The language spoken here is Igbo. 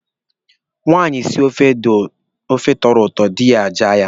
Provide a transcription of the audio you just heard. Nwaanyị sie ofe tọrọ ụtọ, dị ya ajaa ya mma.